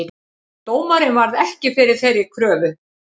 Dómarinn varð ekki við þeirri kröfu